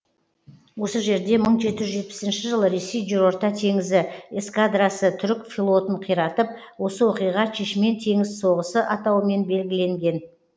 осы жерде мың жеті жүз жетпісінші жылы ресей жерорта теңізі эскадрасы түрік флотын қиратып осы оқиға чешмен теңіз соғысы атауымен белгіленген